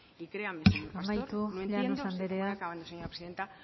y créanme señor pastor amaitu llanos andrea voy acabando señora presidenta